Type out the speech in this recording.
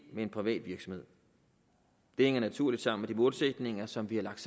privat virksomhed det hænger naturligt sammen med de målsætninger som vi har lagt